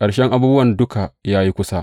Ƙarshen abubuwa duka ya yi kusa.